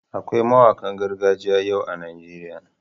Akwai mawanƙan gargajiya yau a Najeriya.